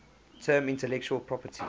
term intellectual property